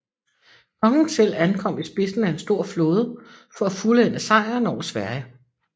Kongen selv ankom i spidsen af en stor flåde for at fuldende sejren over Sverige